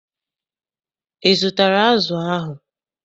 Ị zụtara azụ ahụ?